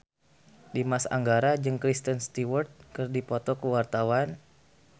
Dimas Anggara jeung Kristen Stewart keur dipoto ku wartawan